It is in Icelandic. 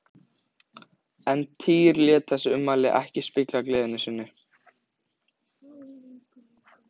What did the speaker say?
En Týri lét þessi ummæli ekki spilla gleði sinni.